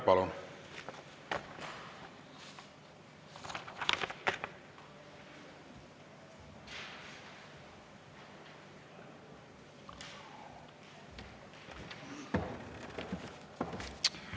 Palun!